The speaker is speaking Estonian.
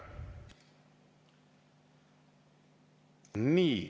Nii.